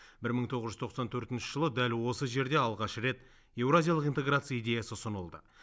бір мың тоғыз жүз тоқсан төртінші жылы дәл осы жерде алғаш рет еуразиялық интеграция идеясы ұсынылды